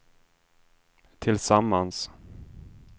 tillsammans